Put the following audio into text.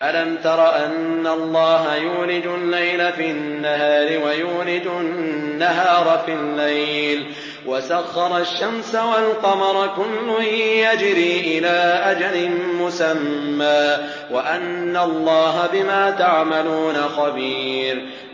أَلَمْ تَرَ أَنَّ اللَّهَ يُولِجُ اللَّيْلَ فِي النَّهَارِ وَيُولِجُ النَّهَارَ فِي اللَّيْلِ وَسَخَّرَ الشَّمْسَ وَالْقَمَرَ كُلٌّ يَجْرِي إِلَىٰ أَجَلٍ مُّسَمًّى وَأَنَّ اللَّهَ بِمَا تَعْمَلُونَ خَبِيرٌ